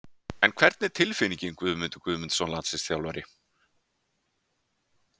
En hvernig er tilfinningin Guðmundur Guðmundsson landsliðsþjálfari?